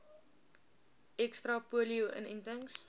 ekstra polio inentings